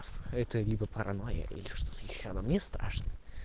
это либо паранойя или что-то ещё но мне страшно